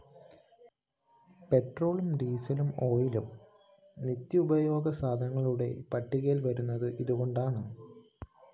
പെട്രോളും ഡീസലും ഓയിലും നിത്യോപയോഗസാധനങ്ങളുടെ പട്ടികയില്‍ വരുന്നത് ഇതുകൊണ്ടാണ്